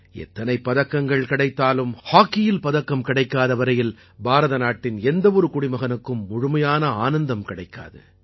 எத்தனைப் பதக்கங்கள் கிடைத்தாலும் ஹாக்கியில் பதக்கம் கிடைக்காத வரையில் பாரத நாட்டின் எந்த ஒரு குடிமகனுக்கும் முழுமையான ஆனந்தம் கிடைக்காது